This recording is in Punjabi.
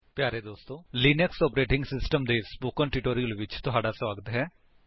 ਪਿਆਰੇ ਦੋਸਤੋ ਲਿਨਕਸ ਆਪਰੇਟਿੰਗ ਸਿਸਟਮ ਦੇ ਸਪੋਕਨ ਟਿਊਟੋਰਿਅਲ ਵਿੱਚ ਤੁਹਾਡਾ ਸਵਾਗਤ ਹੈ